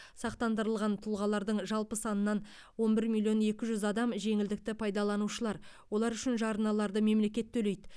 сақтандырылған тұлғалардың жалпы санынан он бір миллион екі жүз адам жеңілдікті пайдаланушылар олар үшін жарналарды мемлекет төлейді